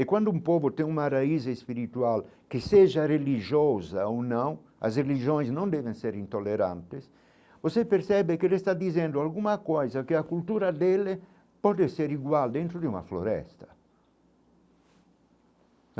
E quando um povo tem uma raiz espiritual que seja religiosa ou não, as religiões não devem ser intolerantes, você percebe que ele está dizendo alguma coisa, que a cultura dele pode ser igual dentro de uma floresta.